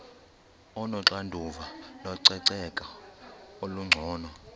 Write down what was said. onoxanduva lococeko olungcono